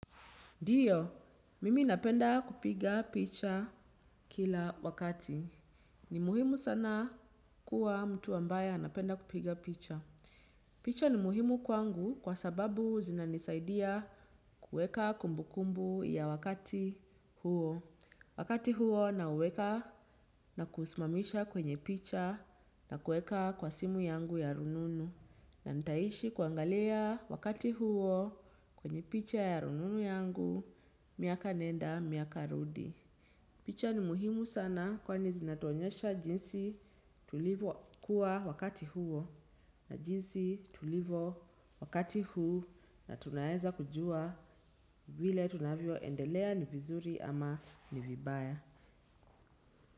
Ndiyo, mimi napenda kupiga picha kila wakati. Ni muhimu sana kuwa mtu ambaye anapenda kupiga picha. Picha ni muhimu kwangu kwa sababu zinanisaidia kuweka kumbukumbu ya wakati huo. Wakati huo nauweka na kuusimamisha kwenye picha na kuweka kwa simu yangu ya rununu. Na nitaishi kuangalia wakati huo kwenye picha ya rununu yangu, miaka nenda, miaka rudi. Picha ni muhimu sana kwani zinatuonyesha jinsi tulivyokuwa wakati huo na jinsi tulivyo wakati huu na tunaweza kujua vile tunavyoendelea ni vizuri ama ni vibaya.